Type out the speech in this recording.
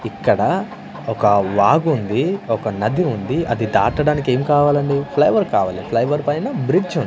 ఇక్కడ ఒక వాగుంది ఒక నది ఉంది అది దాటడానికి ఏం కావాలండి ఫ్లైఓవర్ కావాలి ఫ్లైఓవర్ పైన బ్రిడ్జ్ ఉం --